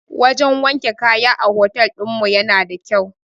Wajan wanke kaya a hotel ɗinmu yana da kyau